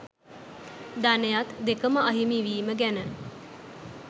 ධනයත් දෙකම අහිමිවීම ගැන